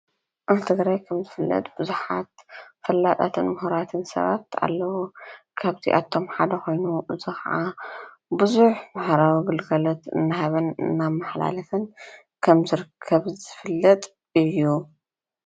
ኣብ ትግራይ ከምዝፈለጥ ብዙሓት ፈላጣትን ምህራትን ሰባት ኣለዉ። ካብዝኦም ሓደ ኮይኑ ብዙሕ ማሕበራዊ ግልጋሎት እናሃበን እናማሓላለፈን ከምዝርከብ ዝፍለጥ እዩ።